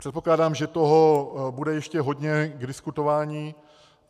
Předpokládám, že toho bude ještě hodně k diskutování.